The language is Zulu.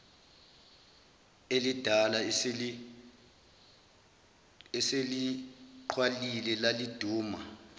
elidala eseligqwalile laliduma